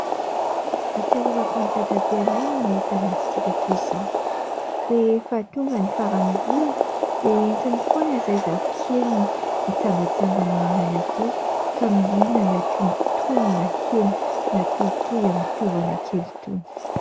Ahatsiarovako an'i Dadabeanay ny mahita masikita roy izao. Rehefa tonga ny faran'ny volana dia entiny foana izahay zafikeliny itsangatsangana eny Analakely ka mihinana tonotonona hena natohitohy amin'ny tovana kely itony.